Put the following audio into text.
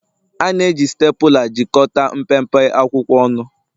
A na-eji Stapula. jikọta mpempe akwụkwọ ọnụ